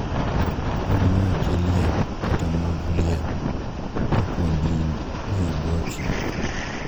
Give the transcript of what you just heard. Kagiweyo chi liel kata mond liel kapod ni e bwo chik.